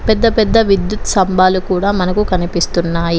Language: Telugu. పెద్ద పెద్ద విద్యుత్ స్థంభాలు కూడా మనకు కనిపిస్తున్నాయి.